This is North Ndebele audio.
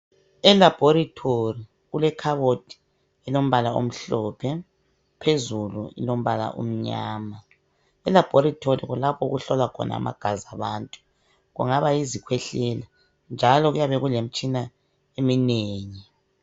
Elaboritory kulekhabothi elombala omhlophe , phezulu ilombala omnyama. Elaboritory kulapho okuhlolwa khona amagazi abantu kungabayizikwehlela njalo kuyabe kule mitshina eminengi.